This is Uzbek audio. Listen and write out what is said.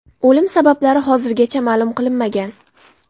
O‘lim sabablari hozirgacha ma’lum qilinmagan.